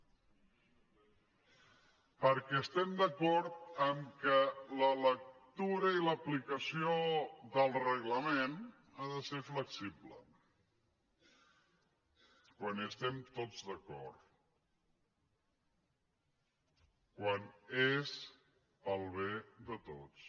perquè estem d’acord que la lectura i l’aplicació del reglament ha de ser flexible quan estem tots d’acord quan és pel bé de tots